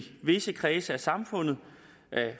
visse kredse af samfundet